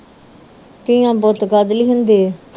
ਧੀਆਂ ਪੁੱਤ ਕਾਦੇ ਲਈ ਹੁੰਦੇ ਆ